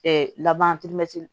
laban